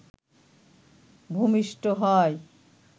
ভূমিষ্ঠ হয়